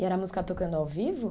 E era música tocando ao vivo?